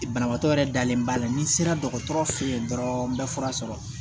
Banabaatɔ yɛrɛ dalen b'a la ni sera dɔgɔtɔrɔ fɛ yen dɔrɔn n bɛ fura sɔrɔ